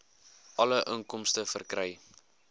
alle inkomste verkry